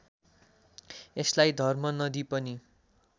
यसलाई धर्मनदी पनि